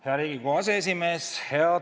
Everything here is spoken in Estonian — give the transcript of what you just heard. Hea Riigikogu aseesimees!